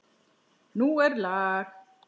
Nú er lag!